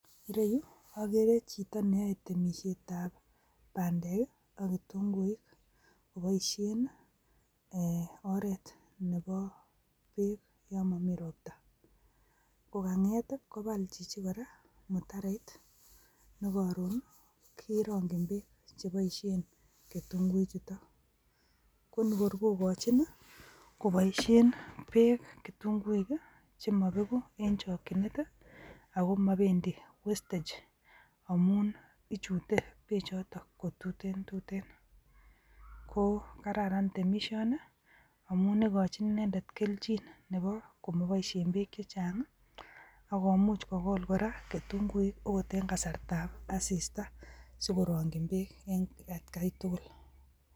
Ireyu ageree chito neyoe temisietab bandek ak kitunguik keboishien oretab beek yon momii roptaa. Kanget kobal Chichi kora mutaroit nekoroon kerongyiin beek cheboishien ketunguichutok. Konikorkokochin koboishien beek kitunguik chemibegu en chokchinet akomobendi wastage amun ichute bechotok kotutentuten.ko kararan temisioni amun ikochi inendet kelchin neboo komoboishien beek chechang ako much kogool kora kitunguik okot en kasartab asistaa. Sikorongyiin beek en etkai tugul.